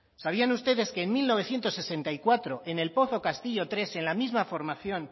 sabían ustedes que en mil novecientos sesenta y cuatro en el pozo castillomenos tres en la misma formación